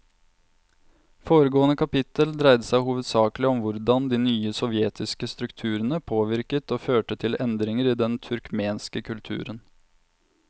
Foregående kapittel dreide seg hovedsakelig om hvordan de nye sovjetiske strukturene påvirket og førte til endringer i den turkmenske kulturen.